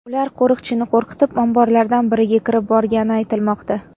Ular qo‘riqchini qo‘rqitib, omborlardan biriga kirib borgani aytilmoqda.